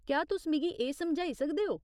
क्या तुस मिगी एह् समझाई सकदे ओ ?